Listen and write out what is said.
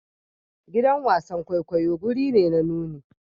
Gidan wasan kwaikwayo wuri ne na nuni.